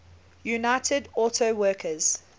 united auto workers